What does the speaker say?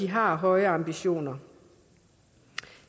har høje ambitioner